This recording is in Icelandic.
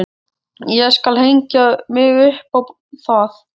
Ég skal hengja mig upp á það!